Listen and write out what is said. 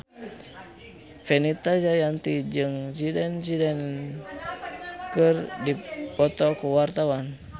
Fenita Jayanti jeung Zidane Zidane keur dipoto ku wartawan